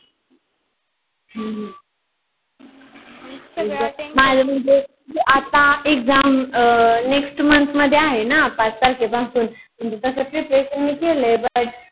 हम्म हम्म माझ आता exam अं next month मध्ये आहे न पाच तारखेच पासून म्हणजे तस prepretion मी केलय but